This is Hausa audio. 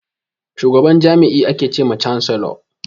Shugaban jami'i ake che ma chancellor.